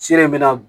Sira in bɛ na